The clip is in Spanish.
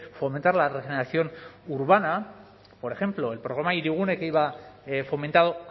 fomentar la regeneración urbana por ejemplo el programa hirigune que iba fomentado